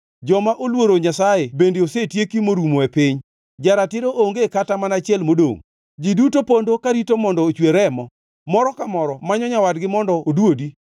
Joma oluoro Nyasaye bende osetieki morumo e piny; ja-ratiro onge kata mana achiel modongʼ. Ji duto pondo karito mondo ochwer remo, moro ka moro manyo nyawadgi mondo odwodi.